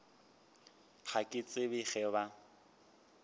ga ke tsebe ge ba